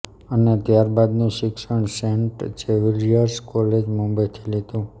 અને ત્યારબાદનું શિક્ષણ સેન્ટ ઝેવિયર્સ કોલેજ મુબંઈથી લીધું